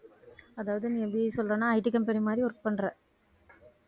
அதாவது நீ எப்படி சொல்றேன்னா IT company மாதிரி work பண்ற